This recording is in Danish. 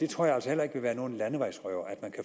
tror jeg altså heller ikke vil være noget landevejsrøveri